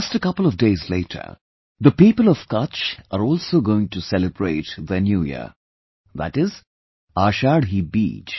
Just a couple of days later, the people of Kutch are also going to celebrate their new year, that is, Ashadhi Beej